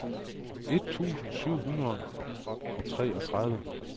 et tusind syv hundrede og treogtredive